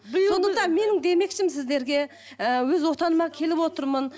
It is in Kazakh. сондықтан менің демекшім сіздерге і өз отаныма келіп отырмын